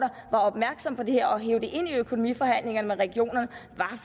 var opmærksom på det her og hev det ind i økonomiforhandlingerne